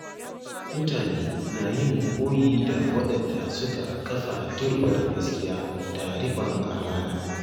Mutane na yin koyi da waɗanda suka kafa turbar gaskiya da rikon amana.